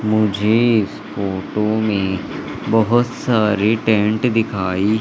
मुझे इस फोटो में बहुत सारे टेंट दिखाई--